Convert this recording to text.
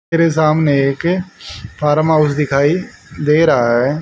मेरे सामने एक फार्म हाउस दिखाई दे रहा है।